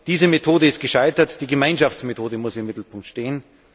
Diese Methode ist gescheitert, die Gemeinschaftsmethode muss im Mittelpunkt stehen.